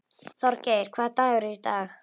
Þorgeir, hvaða dagur er í dag?